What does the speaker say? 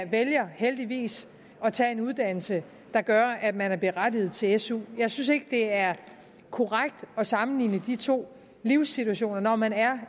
vælger heldigvis at tage en uddannelse der gør at man er berettiget til su jeg synes ikke det er korrekt at sammenligne de to livssituationer når man er